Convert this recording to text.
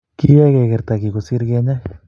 keyeey kegerta giy kosir kenyaai